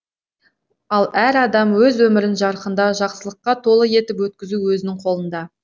ал әр адам өз өмірін жарқында жақсылыққа толы етіп өткізу өзінің қолында